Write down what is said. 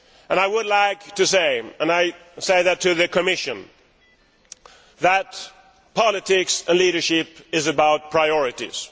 I would like to say and I say this to the Commission that politics and leadership are about priorities.